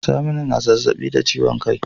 Saminu na zazzabi da ciwon kai